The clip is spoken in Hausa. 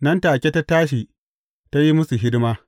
Nan take ta tashi, ta yi musu hidima.